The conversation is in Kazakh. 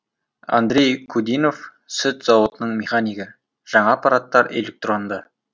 андрей кудинов сүт зауытының механигі жаңа аппараттар электронды